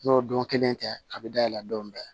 N'o don kelen tɛ a bɛ dayɛlɛ don bɛɛ